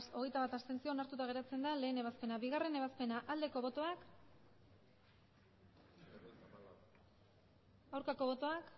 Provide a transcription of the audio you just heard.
berrogeita hamalau abstentzioak hogeita bat onartuta geratzen da batgarrena ebazpena bigarrena ebazpena aldeko botoak aurkako botoak